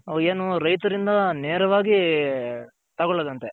ಹ್ಮ್ ಏನು ರೈತರಿಂದ ನೇರವಾಗಿ ತಗೊಳೋದಂತೆ.